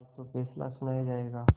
आज तो फैसला सुनाया जायगा